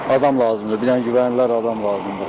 Adam lazımdır, bir dənə güvənilər adam lazımdır.